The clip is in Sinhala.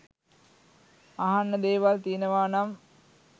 අහන්න දේවල් තියනවානම්